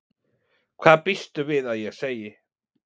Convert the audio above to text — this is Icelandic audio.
Hvað býstu við að ég segi?